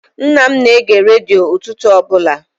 Nna m na-ege redio ụtụtụ ọbụla.